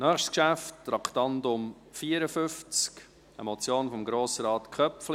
Das nächste Geschäft, Traktandum 54, ist eine Motion von Grossrat Köpfli: